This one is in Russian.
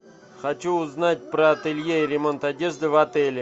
хочу узнать про ателье ремонт одежды в отеле